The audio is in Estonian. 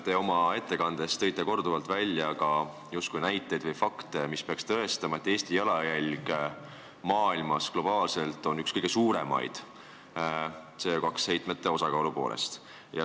Te oma ettekandes tõite korduvalt justkui näiteid või fakte, mis peaks tõestama, et Eesti jalajälg maailmas on globaalselt üks kõige suuremaid CO2 heitmete osakaalu poolest.